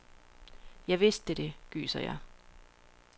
Jeg vidste det, gyser jeg.